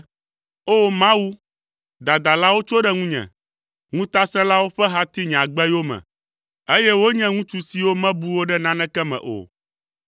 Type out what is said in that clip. O! Mawu, dadalawo tso ɖe ŋunye, ŋutasẽlawo ƒe ha ti nye agbe yome, eye wonye ŋutsu siwo mebu wò ɖe naneke me o.